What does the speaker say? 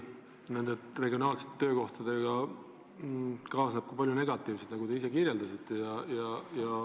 Nende regionaalsete töökohtadega kaasneb ka palju negatiivset, nagu te ka ise rääkisite.